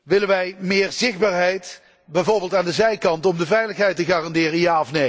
Willen wij meer zichtbaarheid, bijvoorbeeld aan de zijkant, om de veiligheid te garanderen?